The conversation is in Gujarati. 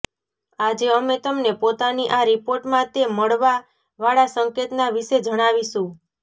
આજે અમે તમને પોતાની આ રીપોર્ટ માં તે મળવા વાળા સંકેત ના વિશે જણાવીશું